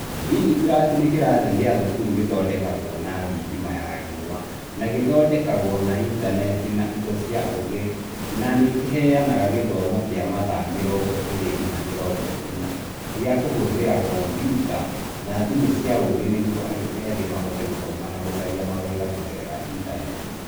DigiTruck nĩ kĩrathi gĩa thukuru gĩthondekagwo na thitima ya riũa na gĩthondekagwo na intaneti na indo cia ũũgĩ na nĩ kĩheanaga gĩthomo kĩa mathaa mĩrongo ĩrĩ nginya mĩrongo ĩna gĩa kũhũthĩra kompiuta na thimũ cia ũũgĩ nĩguo andũ ethĩ mahote gũthoma na gũcaria mawĩra kũgerera ĩntaneti.